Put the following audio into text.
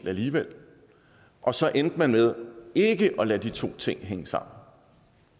alligevel og så endte man med ikke at lade de to ting hænge sammen